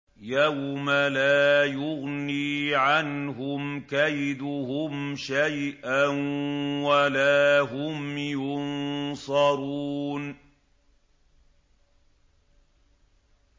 يَوْمَ لَا يُغْنِي عَنْهُمْ كَيْدُهُمْ شَيْئًا وَلَا هُمْ يُنصَرُونَ